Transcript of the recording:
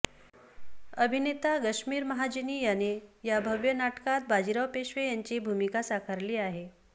अभिनेता गश्मीर महाजनी याने या भव्य नाटकात बाजीराव पेशवे यांची भूमिका साकरली आहे